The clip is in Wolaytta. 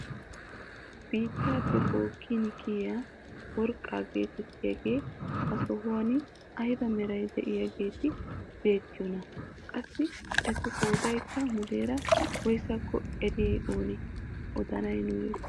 Biittaappe bookkin kiyiyaa worqqaa getettiyaageti ha sohuwaan ayba meraara de'iyaageti beettiyoonaa? qassi etu qoodaykka muleera woysako eriyaay oonee odanay nuuyoo?